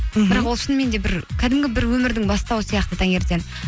ол шыныменде бір кәдімгі бір өмірдің бастауы сияқты таңертең